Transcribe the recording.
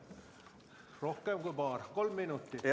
Rohkem kui paar, kolm minutit.